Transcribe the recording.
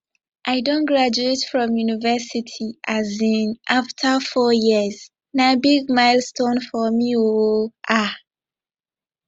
i don graduate from university um afta four years na big milestone for me o um